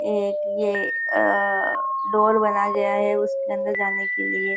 एक ये अ डोर बनाया गया उसके अंदर जाने के लिए।